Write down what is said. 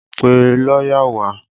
Pe lọ́yà wá!